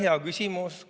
Hea küsimus!